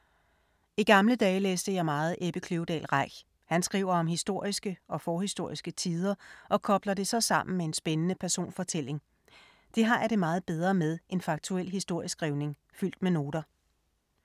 I gamle dage læste jeg meget Ebbe Kløvedal Reich. Han skriver om historiske og forhistoriske tider og kobler det så sammen med en spændende personfortælling. Det har jeg det meget bedre med end faktuel historieskrivning fyldt med noter.